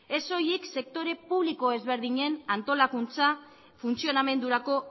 ez soilik sektore publiko ezberdinen antolakuntza funtzionamendurako